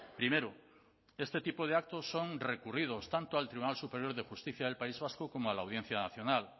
primero este tipo de actos son recurridos tanto al tribunal superior de justicia del país vasco como a la audiencia nacional